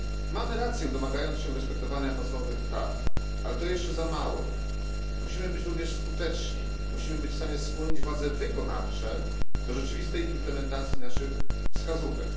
Mamy rację, domagając się respektowania podstawowych praw, ale to jeszcze za mało. Musimy być również skuteczni, musimy być w stanie skłonić władze wykonawcze do rzeczywistej implementacji naszych wskazówek.